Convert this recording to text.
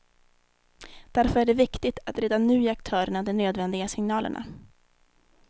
Därför är det viktigt att redan nu ge aktörerna de nödvändiga signalerna.